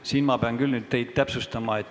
Siin ma pean teid küll nüüd täpsustama.